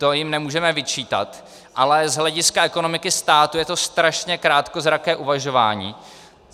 To jim nemůžeme vyčítat, ale z hlediska ekonomiky státu je to strašně krátkozraké uvažování.